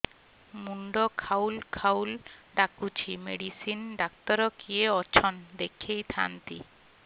ମୁଣ୍ଡ ଖାଉଲ୍ ଖାଉଲ୍ ଡାକୁଚି ମେଡିସିନ ଡାକ୍ତର କିଏ ଅଛନ୍ ଦେଖେଇ ଥାନ୍ତି